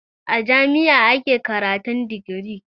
A jami'a ake karatun digiri